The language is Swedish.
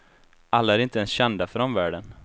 Alla är inte ens kända för omvärlden.